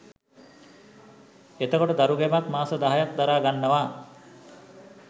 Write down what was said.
එතකොට දරුගැබක් මාස දහයක් දරාගන්නවා